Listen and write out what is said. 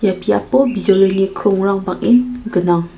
ia biapo bijolini krongrang bang·en gnang.